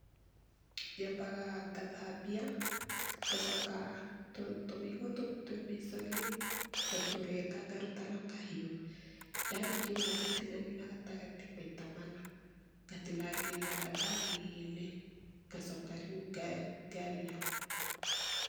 Nyambaga ngathambia, ngacoka tũmĩigua tũtũ twĩ mĩico-inĩ, ngatũrenga ngaruta na kahiũ. ndarĩkia ũguo ngatinania na gatagatĩ maita mana, ngatinangĩria gathani-inĩ, ngacoka rĩu ngarĩa.